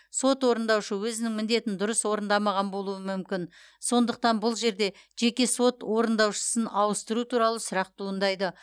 сот орындаушы өзінің міндетін дұрыс орындамаған болуы мүмкін сондықтан бұл жерде жеке сот орындаушысын ауыстыру туралы сұрақ туындайды